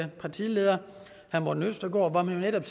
partileder herre morten østergaard netop